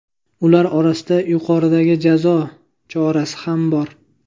Ular orasida yuqoridagi jazo chorasi ham bor.